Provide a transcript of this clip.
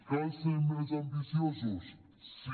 cal ser més ambiciosos sí